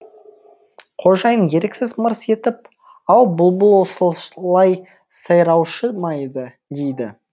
қожайын еріксіз мырс етіп ау бұлбұл осылай сайраушы ма еді дейді